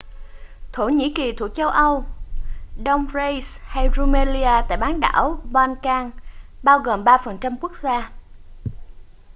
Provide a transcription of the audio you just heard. thổ nhĩ kỳ thuộc châu âu đông thrace hay rumelia tại bán đảo balkan bao gồm 3% quốc gia